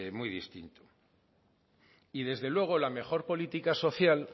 muy distinto y desde luego la mejor política social